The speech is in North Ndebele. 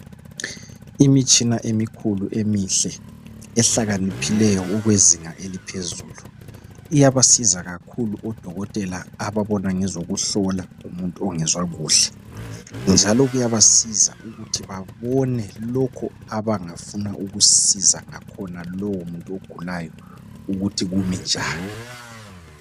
Imitshina emikhulu eminhle ehlakaniphileyo ukwezinga eliphezulu iyabasiza kakhulu odokotela ababona ngezokuhlola umuntu ongezwa kuhle njalo kuyabasiza ukuthi babone lokhu abangafuna ukusiza ngakhona lowo muntu ogulayo ukuthi kimi njani.